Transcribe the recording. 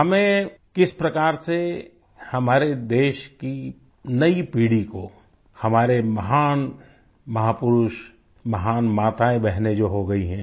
हमें किस प्रकार से हमारे देश की नई पीढ़ी को हमारे महान महापुरुष महान माताएंबहनें जो हो गई हैं